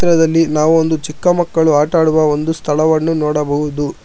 ಚಿತ್ರದಲ್ಲಿ ನಾವು ಒಂದು ಚಿಕ್ಕ ಮಕ್ಕಳು ಆಟ ಆಡುವ ಒಂದು ಸ್ಥಳವನ್ನು ನೋಡಬಹುದು.